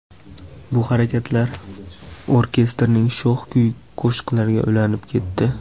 Bu harakatlar orkestrning sho‘x kuy-qo‘shiqlariga ulanib ketdi.